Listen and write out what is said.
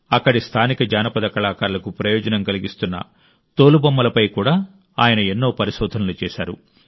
అక్కడి స్థానిక జానపద కళాకారులకు ప్రయోజనం కలిగిస్తున్న తోలుబొమ్మలపై కూడా ఆయన ఎన్నో పరిశోధనలు చేశారు